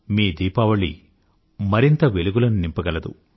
మీ దీపావళి మరింత వెలుగులను నింపగలదు